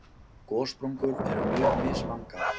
Gossprungur eru mjög mislangar.